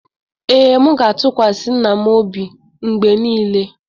Ee, m ga-atụkwasị nna m obi mgbe niile.